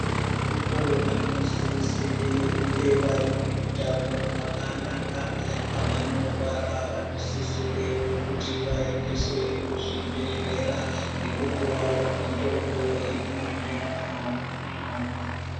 Vana vadoko vanosisire kunge vaine utano hwakanaka. Pavanorwara vanosisirevo kuti vaendeswe kuzvibhedhlera nekupuvavo mitombo inoenderana navo.